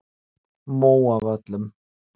Móavöllum